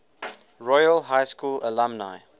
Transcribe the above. royal high school alumni